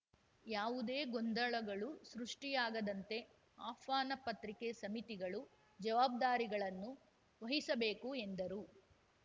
ಯಾವುದೇ ಗೊಂದಳಗಳು ಸೃಷ್ಟಿಯಾಗದಂತೆ ಆಹ್ವಾನ ಪತ್ರಿಕೆ ಸಮಿತಿಗಳು ಜವಾಬ್ದಾರಿಗಳನ್ನು ವಹಿಸಬೇಕು ಎಂದರು